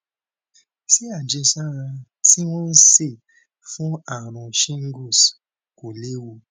ṣé àjẹsára tí wón ń ṣe fún àrùn shingles kò léwu